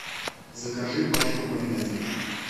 закажи пачку майонеза